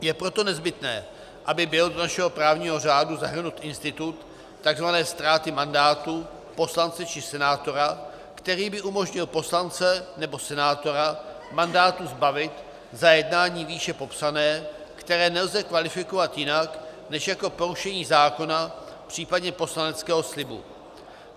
Je proto nezbytné, aby byl do našeho právního řádu zahrnut institut tzv. ztráty mandátu poslance či senátora, který by umožnil poslance nebo senátora mandátu zbavit za jednání výše popsané, které nelze kvalifikovat jinak než jako porušení zákona, případně poslaneckého slibu.